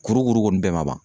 Kurukuru bɛɛ kɔni ma ban